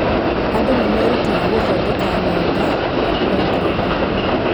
Andũ nĩ merutaga gũthondeka ng’enda na programu.